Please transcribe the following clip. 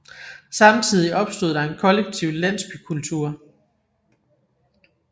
Samtidigt opstod der en kollektiv landsbykultur